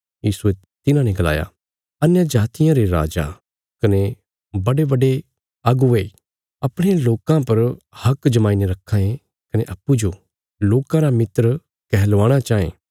यीशुये तिन्हाने गलाया अन्यजातियां रे राजा कने बड्डेबड्डे नेते अपणे लोकां पर हक जमाई ने रक्खां ये कने अप्पूँजो लोकां रा मित्र कैहलवाणा चाँये